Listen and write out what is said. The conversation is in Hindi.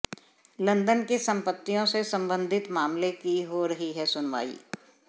लंदन की संपत्तियों से संबंधित मामले की हो रही है सुनवाई